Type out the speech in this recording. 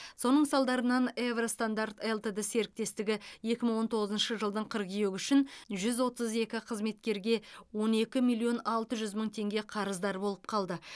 соның салдарынан евро стандарт лтд серіктестігі екі мың он тоғызыншы жылдың қыркүйегі үшін жүз отыз екі қызметкерге он екі миллион алты жүз мың теңге қарыздар болып қалды